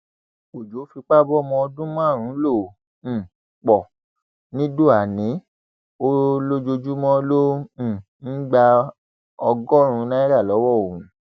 ọjọ fipá bọmọ ọdún márùnún ló um pọ nìdóànì ò lójoojúmọ ló um ń gba ọgọrùnún náírà lọwọ òun